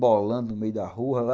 Bolando no meio da rua lá.